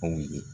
Anw ye